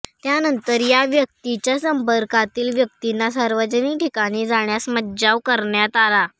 त्यानंतर या व्यक्तीच्या संपर्कातील व्यक्तींना सार्वजनिक ठिकाणी जाण्यास मज्जाव करण्यात आला